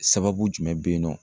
Sababu jumɛn be yen nɔ